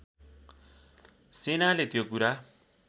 सेनाले त्यो कुरा